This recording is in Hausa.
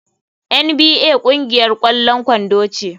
NBA ƙungiyar ƙwallon kwando ce.